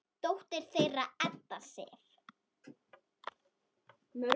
Dóttir þeirra er Edda Sif.